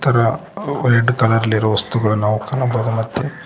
ಕಲರ್ಅಲ್ಲಿರುವ ವಸ್ತುಗಳನ್ನು ನಾವು ಕಾಣಬಹುದು ಮತ್ತು --